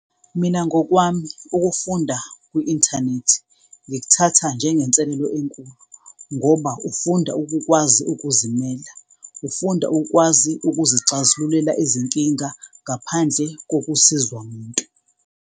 Mina ngokwami ukufunda kwi-inthanethi ngikuthatha njengenselelo enkulu ngoba ufunda ukukwazi ukuzimela, ufunda ukwazi ukuzixazululela izinkinga ngaphandle kokusizwa umuntu.